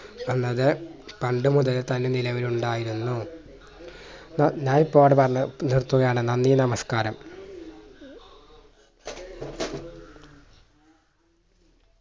എന്നത് പണ്ട് മുതൽ തന്നെ നിലവിൽ ഉണ്ടായിരുന്നു ഏർ ഞാൻ ഇപ്പോ ഇവിടെ പറഞ്ഞു നിർത്തുകയാണ് നന്ദി നമസ്ക്കാരം